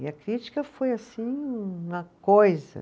E a crítica foi, assim, uma coisa.